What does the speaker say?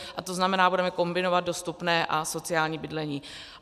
A to znamená, budeme kombinovat dostupné a sociální bydlení.